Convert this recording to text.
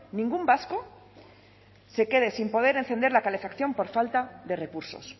ningún vasco se quede sin poder encender la calefacción por falta de recursos